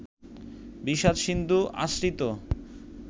বিষাদ-সিন্ধু আশ্রিত